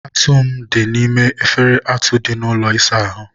atụ m dị n'ime efere atụ dị n'ụlọ ịsa ahụ.